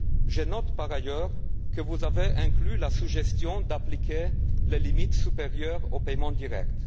Je note par ailleurs que vous avez inclus la suggestion d'appliquer les limites supérieures aux paiements directs.